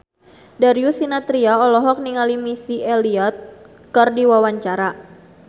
Darius Sinathrya olohok ningali Missy Elliott keur diwawancara